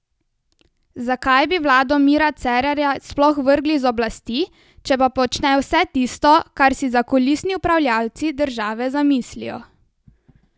Zakaj bi vlado Mira Cerarja sploh vrgli z oblasti, če pa počne vse tisto, kar si zakulisni upravljavci države zamislijo?